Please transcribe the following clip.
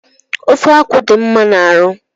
Ofe akwụ dị mma n'arụ